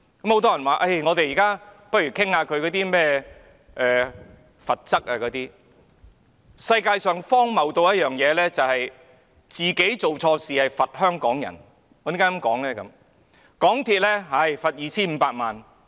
很多人建議我們現在討論針對港鐵公司的罰則，世界上最荒謬不過的是自己做錯事卻懲罰香港人，我為何這樣說呢？